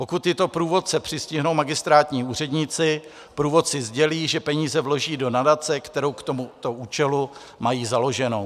Pokud tyto průvodce přistihnou magistrátní úředníci, průvodci sdělí, že peníze vloží do nadace, kterou k tomuto účelu mají založenou.